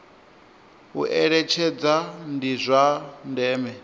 u eletshedza ndi zwa ndeme